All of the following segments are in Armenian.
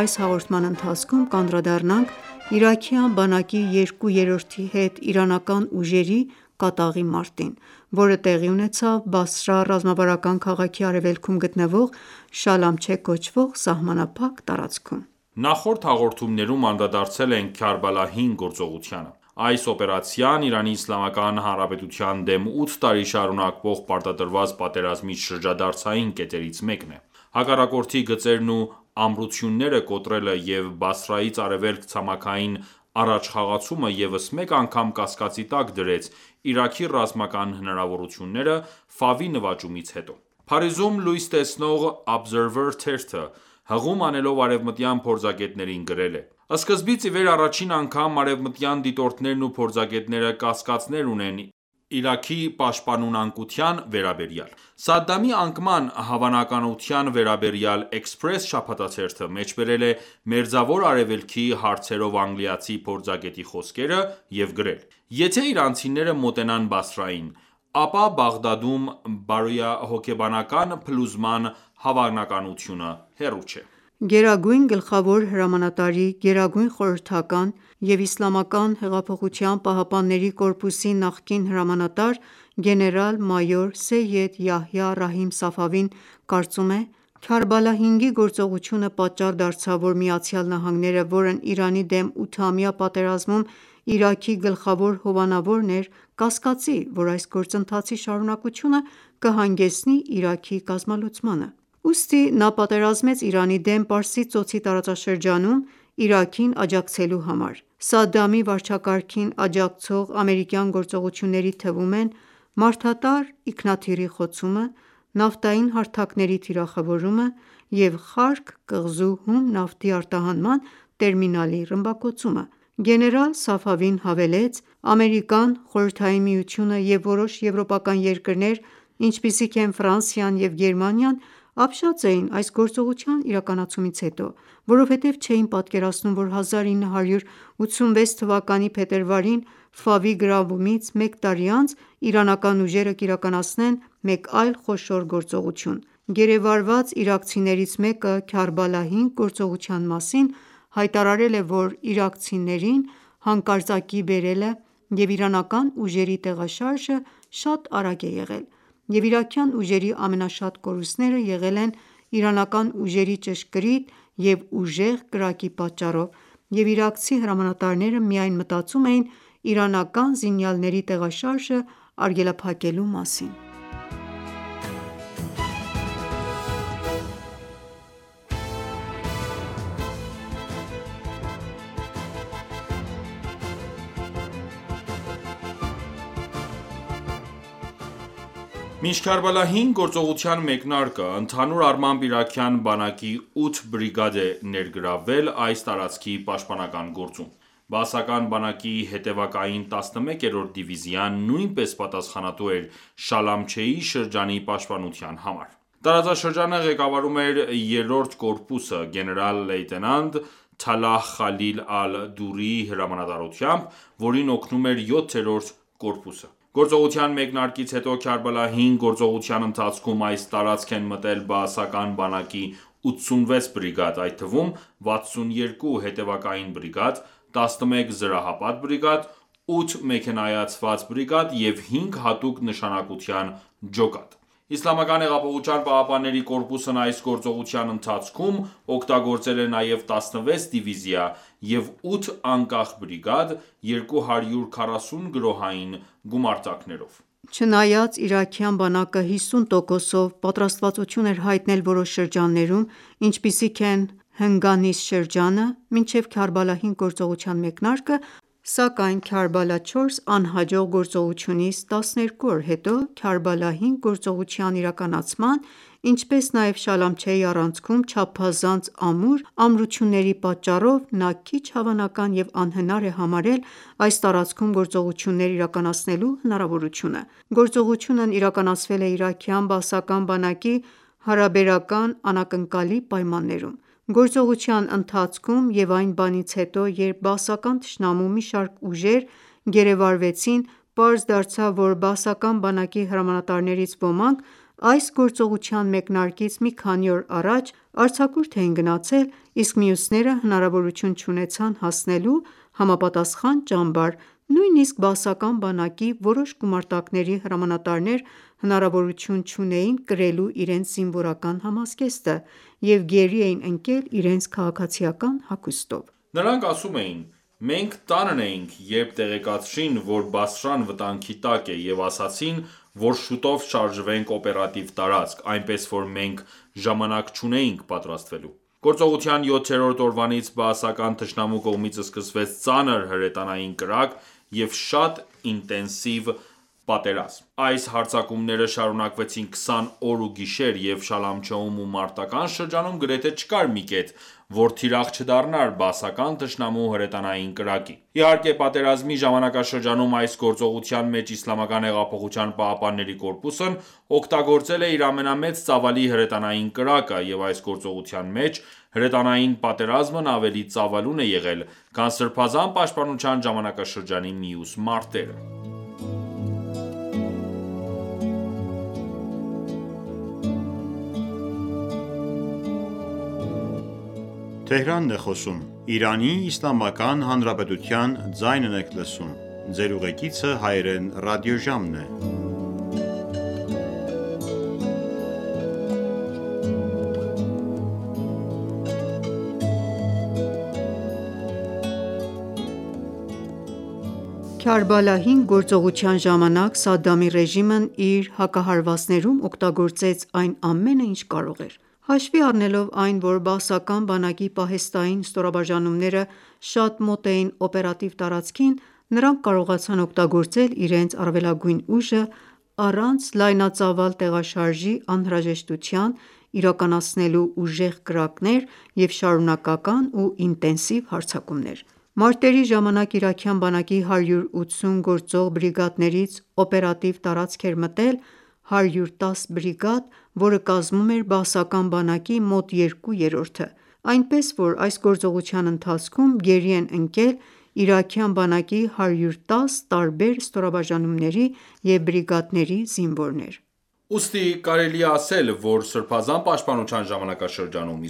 Այս հաղորդման մեջ կանդրադառնանք իրաքյան բանակի երկու երրորդի հետ իրանական ուժերի կատաղի մարտին, որը տեղի ունեցավ Բասրա ռազմավարական քաղաքի արեւելքում գտնվող Շալամչեհ կոչվող սահմանափակ տարածքում։ Նախորդ հաղորդումներում անդրադարձել ենք Քարբալա-5 գործողությանը։ Այս օպերացիան ԻԻՀ-ի դեմ ութ տարի շարունակվող պարտադրված պատերազմի շրջադարձային կետերից մեկն է։ Հակառակորդի գծերն ու ամրությունները կոտրելը և Բասրայից արևելք ցամաքային առաջխաղացումը ևս մեկ անգամ կասկածի տակ դրեց Իրաքի ռազմական հնարավորությունները Ֆավի նվաճումից հետո: Փարիզում լույս տեսնող Observer թերթը՝ հղում անելով արևմտյան փորձագետներին գրել է.- «Սկզբից ի վեր առաջին անգամ արևմտյան դիտորդներն ու փորձագետները կասկածներ ունեն Իրաքի պաշտպանունակության վերաբերյալ»: Սադամի անկման հավանականության վերաբերյալ Express շաբաթաթերթը մեջբերել է Մերձավոր Արևելքի հարցերով անգլիացի փորձագետի խոսքերը և գրել. «Եթե իրանցիները մոտենան Բասրային, ապա Բաղդադում բարոյահոգեբանական փլուզման հավանականությունը հեռու չէ»: Գերագույն գլխավոր հրամանատարի գերագույն խորհրդական և ԻՀՊԿ--ի նախկին հրամանատար գեներալ-մայոր Սեյեդ Յահյա Ռահիմ Սաֆավին կարծում է. «Կարբալա 5-ի գործողությունը պատճառ դարձավ, որ ԱՄՆ-ն, որն Իրանի դեմ ութամյա պատերազմում Իրաքի գլխավոր հովանավորն էր կասկածի, որ այս գործընթացի շարունակությունը կհանգեցնի Իրաքի կազմալուծմանը։ Ուստի նա պատերազմեց Իրանի դեմ Պարսից ծոցի տարածաշրջանում՝ Իրաքին աջակցելու համար։ Սադամի վարչակարգին աջակցող ամերիկյան գործողությունների թվում են մարդատար ինքնաթիռի խոցումը, նավթային հարթակների թիրախավորումը և Խարկ կղզու հում նավթի արտահանման տերմինալի ռմբակոծումը»։ Գեներալ Սաֆավին հավելեց.«Ամերիկան, Խորհրդային Միությունը և որոշ եվրոպական երկրներ, ինչպիսիք են Ֆրանսիան և Գերմանիան, ապշած էին այս գործողության իրականացումից հետո, որովհետև չէին պատկերացնում, որ 1986 թվականի փետրվարին Ֆավի գրավումից մեկ տարի անց իրանական ուժերը կիրականացնեն մեկ այլ խոշոր գործողություն։ Գերեվարված իրաքցիներից մեկը Քարբալա 5 գործողության մասին հայտարարել է, որ իրաքցիներին հանկարծակիի բերելը և իրանական ուժերի տեղաշարժը շատ արագ է եղել, և իրաքյան ուժերի ամենաշատ կորուստները եղել են իրանական ուժերի ճշգրիտ և ուժեղ կրակի պատճառով, և իրաքցի հրամանատարները միայն մտածում էին իրանական զինյալների տեղաշարժը արգելափակելու մասին»։ Մինչ Քարբալա 5 գործողության մեկնարկը, ընդհանուր առմամբ իրաքյան բանակի 8 բրիգադ է ներգրավվել այս տարածքի պաշտպանական գործում։ Բաասական բանակի հետևակային 11-րդ դիվիզիան նույնպես պատասխանատու էր Շալամչեի շրջանի պաշտպանության համար։ Տարածաշրջանը ղեկավարում էր 3-րդ կորպուսը՝ գեներալ-լեյտենանտ Թալահ Խալիլ Ալ Դուրիի հրամանատարությամբ, որին օգնում էր 7-րդ կորպուսը։ Գործողության մեկնարկից հետո Քարբալա 5 գործողության ընթացքում այս տարածք են մտել բաասական բանակի 86 բրիգադ, այդ թվում՝ 62 հետևակային բրիգադ, 11 զրահապատ բրիգադ, 8 մեքենայացված բրիգադ և 5 հատուկ նշանակության ջոկատ: ԻՀՊԿ-ն այս գործողության ընթացքում օգտագործել է նաև 16 դիվիզիա և 8 անկախ բրիգադ՝ 240 գրոհային գումարտակներով։ Չնայած իրաքյան բանակը 50%-ով պատրաստվածություն էր հայտնել որոշ շրջաններում, ինչպիսիք են հնգանիստ շրջանը, մինչև Քարբալա 5 գործողության մեկնարկը, սակայն Քարբալա 4 անհաջող գործողությունից 12 օր հետո Քարբալա 5 գործողության իրականացման, ինչպես նաև Շալամչեի առանցքում չափազանց ամուր ամրությունների պատճառով նա քիչ հավանական և անհնար է համարել այս տարածքում գործողություններ իրականացնելու հնարավորությունը։ Գործողությունն իրականացվել է իրաքյան բաասական բանակի հարաբերական անակնկալի պայմաններում։ Գործողության ընթացքում և այն բանից հետո, երբ բաասական թշնամու մի շարք ուժեր գերեվարվեցին, պարզ դարձավ, որ բաասական բանակի հրամանատարներից ոմանք այս գործողության մեկնարկից մի քանի օր առաջ արձակուրդ էին գնացել, իսկ մյուսները հնարավորություն չունեցան հասնելու համապատասխան ճամբար: Նույնիսկ բաասական բանակի որոշ գումարտակների հրամանատարներ հնարավորություն չունեին կրելու իրենց զինվորական համազգեստը և գերի էին ընկել իրենց քաղաքացիական հագուստով։ Նրանք ասում էին.«Մենք տանն էինք, երբ տեղեկացրին, որ Բասրան վտանգի տակ է, և ասացին, որ շուտով շարժվենք օպերատիվ տարածք, այնպես որ մենք ժամանակ չունեինք պատրաստվելու»։ Գործողության յոթերորդ օրվանից բաասական թշնամու կողմից սկսվեց ծանր հրետանային կրակ և շատ ինտենսիվ պատերազմ։ Այս հարձակումները շարունակվեցին 20 օր ու գիշեր, և Շլամչեում ու մարտական ​​շրջանում գրեթե չկար մի կետ, որ թիրախ չդառնար բաասական թշնամու հրետանային կրակի։ Իհարկե, պատերազմի ժամանակաշրջանում այս գործողության մեջ ԻՀՊԿ-ն օգտագործել է իր ամենամեծ ծավալի հրետանային կրակը, և այս գործողության մեջ հրետանային պատերազմն ավելի ծավալուն է եղել, քան սրբազան պաշտպանության ժամանակաշրջանի մյուս մարտերը։ Քարբալա 5 գործողության ժամանակ Սադամի ռեժիմն իր հակահարվածներում օգտագործեց այն ամենը, ինչ կարող էր: Հաշվի առնելով այն, որ բաասական բանակի պահեստային ստորաբաժանումները շատ մոտ էին օպերատիվ տարածքին, նրանք կարողացան օգտագործել իրենց առավելագույն ուժը՝ առանց լայնածավալ տեղաշարժի անհրաժեշտության՝ իրականացնելու ուժեղ կրակներ և շարունակական ու ինտենսիվ հարձակումներ։ Մարտերի ժամանակ իրաքյան բանակի 180 գործող բրիգադներից օպերատիվ տարածք է մտել 110 բրիգադ, որը կազմում է բաասական բանակի մոտ երկու երրորդը։ Այնպես, որ այս գործողության ընթացքում գերի են ընկել իրաքյան բանակի 110 տարբեր ստորաբաժանումների և բրիգադների զինվորներ։ Ուստի, կարելի է ասել, որ Սրբազան պաշտպանության ժամանակաշրջանում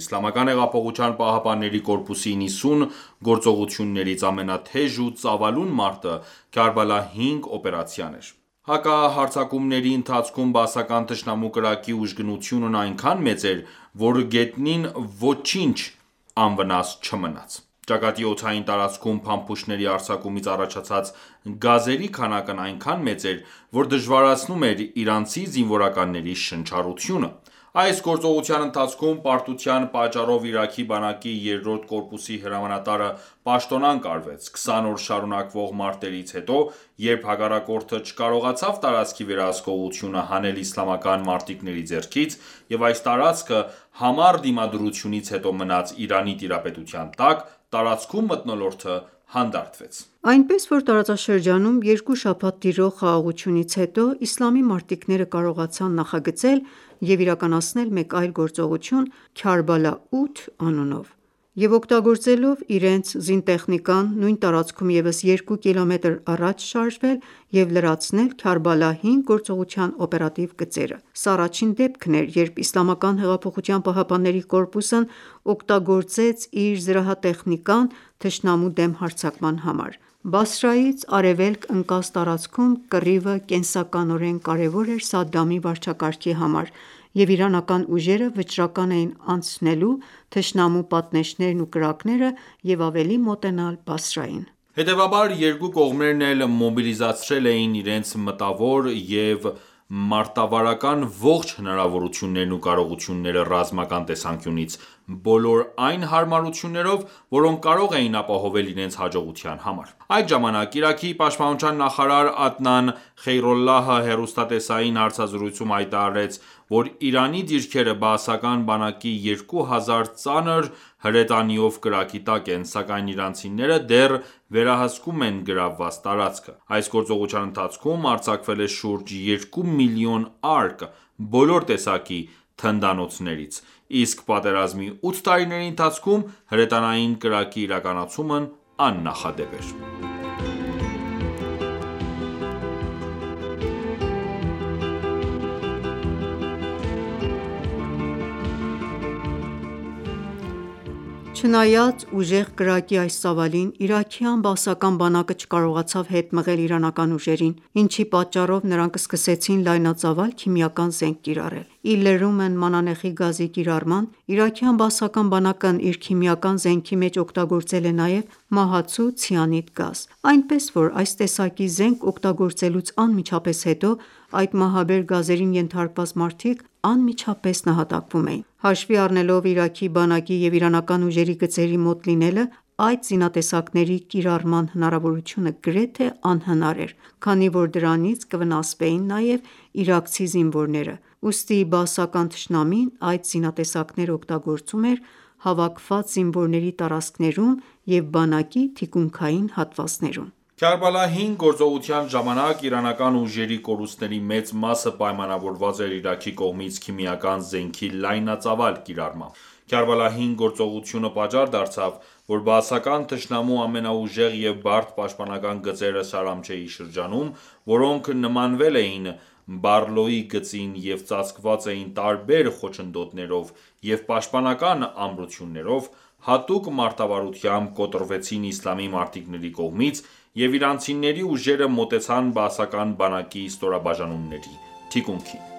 ԻՀՊԿ-ի 90 գործողություններից ամենաթեժ ու ծավալուն մարտը Քարբալա 5 օպերացիան էր։ Հակահարձակումների ընթացքում բաասական թշնամու կրակի ուժգնությունն այնքան մեծ էր, որ գետնին ոչինչ անվնաս չմնաց։ Ճակատի օդային տարածքում փամփուշտների արձակումից առաջացած գազերի քանակն այնքան մեծ էր, որ դժվարացնում էր իրանցի զինվորականների շնչառությունը։ Այս գործողության ընթացքում պարտության պատճառով Իրաքի բանակի երրորդ կորպուսի հրամանատարը պաշտոնանկ արվեց։ 20 օր շարունակվող մարտերից հետո, երբ հակառակորդը չկարողացավ տարածքի վերահսկողությունը հանել իսլամական մարտիկների ձեռքից, և այս տարածքը համառ դիմադրությունից հետո մնաց Իրանի տիրապետության տակ, տարածքում մթնոլորտը հանդարտվեց։ Այնպես, որ տարածաշրջանում երկու շաբաթ տիրող խաղաղությունից հետո իսլամի մարտիկները կարողացան նախագծել և իրականացնել մեկ այլ գործողություն՝ «Քարբալա 8» անունով, և օգտագործելով իրենց զրահատեխնիկան, նույն տարածքում ևս երկու կիլոմետր առաջ շարժվել և լրացնել Քարբալայի 5 գարծողության օպերատիվ գծերը: Սա առաջին դեպքն էր, երբ ԻՀՊԿ-ն օգտագործեց իր զրահատեխնիկան թշնամու դեմ հարձակման համար։ Բասրայից արևելք ընկած տարածքում կռիվը կենսականորեն կարևոր էր Սադամի վարչակարգի համար, և իրանական ուժերը վճռական էին անցնելու թշնամու պատնեշներն ու կրակները և ավելի մոտենալ Բասրային: Հետևաբար, երկու կողմերն էլ մոբիլիզացրել էին իրենց մտավոր և մարտավարական ողջ հնարավորություններն ու կարողությունները ռազմական տեսանկյունից՝ բոլոր այն հարմարություններով, որոնք կարող էին ապահովել իրենց հաջողության համար։ Այդ ժամանակ Իրաքի պաշտպանության նախարար Ադնան Խեյրուլլահը հեռուստատեսային հարցազրույցում հայտարարեց, որ Իրանի դիրքերը բաասական բանակի 2000 ծանր հրետանիով կրակի տակ են, սակայն իրանցիները դեռ վերահսկում են գրավված տարածքը: Այս գործողության ընթացքում արձակվել է շուրջ 2 միլիոն արկ բոլոր տեսակի թնդանոթներից, իսկ պատերազմի 8 տարիների ընթացքում հրետանային կրակի իրականացումն աննախադեպ էր։ Չնայած ուժեղ կրակի այս ծավալին, իրաքյան բաասական բանակը չկարողացավ հետ մղել իրանական ուժերին, ինչի պատճառով նրանք սկսեցին լայնածավալ քիմիական զենք կիրառել։ Ի լրումն մանանեխի գազի կիրառման, իրաքյան բաասական բանակն իր քիմիական զենքի մեջ օգտագործել է նաև մահացու ցիանիդ գազ, այնպես որ այս տեսակի զենք օգտագործելուց անմիջապես հետո այդ մահաբեր գազերին ենթարկված մարդիկ անմիջապես նահատակվում էին։ Հաշվի առնելով Իրաքի բանակի և իրանական ուժերի գծերի մոտ լինելը այդ զինատեսակների կիրառման հնարավորությունը գրեթե անհնար էր, քանի որ դրանից կվնասվեին նաև իրաքցի զինվորները, ուստի բաասական թշնամին այդ զինատեսակները օգտագործում էր հավաքված զինվորների տարածքներում և բանակի թիկունքային հատվածներում: Քարբալա 5 գործողության ժամանակ իրանական ուժերի կորուստների մեծ մասը պայմանավորված էր Իրաքի կողմից քիմիական զենքի լայնածավալ կիրառմամբ։ Քարբալա 5 գործողությունը պատճառ դարձավ, որ բաասական թշնամու ամենաուժեղ և բարդ պաշտպանական գծերը Շալամչեի շրջանում, որոնք նմանվել էին Բարլոյի գծին և ծածկված էին տարբեր խոչընդոտներով և պաշտպանական ամրություններով, հատուկ մարտավարությամբ կոտրվեցին իսլամի մարտիկների կողմից, և իրանցիների ուժերը մոտեցան բաասական բանակի ստորաբաժանումների թիկունքին: